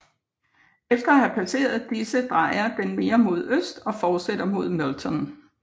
Efter at have passeret disse drejer den mere mod øst og fortsætter mod Milton